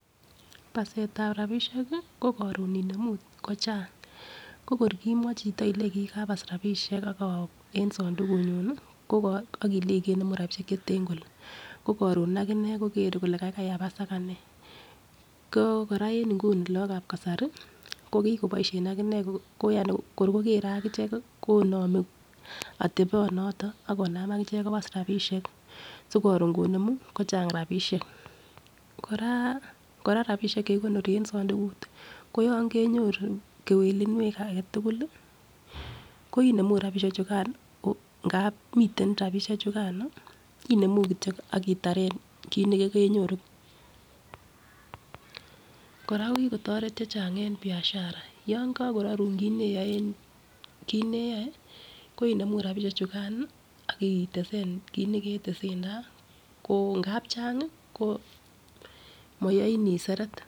Basetab rabishek ko korun inemu kochang ko kor kimwochi chito ilenji kabas rabishek en sondukukunyun ak ilenji kenemu rabishek cheten kole ko korun akinee kokere kole kaigai abas akanee ko koraa en nguni lokab kasari ko kokoboishen akinee yani ko kokere akichek konome oteponoton ak konam akichek kobas rabishek sikorun konemu kochang rabishek koraa kora rabishek chekikonor en sondukut koyon kenyorun kewelunwek agetutuk koinemu rabishek chukan ngap miten rabishek chukano inemu kityok ak itaren kit nekokenyoru. Koraa ko kikotoret chechang en biashara yon kokororun kii neyoe ko inemu rabishek chukan ak itesen kit neketesentai ko ngap chang ko moyoin inseret.